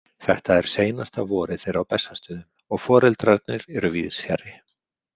Þetta er seinasta vorið þeirra á Bessastöðum og foreldrarnir eru víðs fjarri.